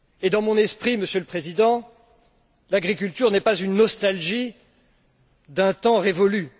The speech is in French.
Dans mon esprit, Monsieur le Président, l'agriculture n'est pas une nostalgie d'un temps révolu.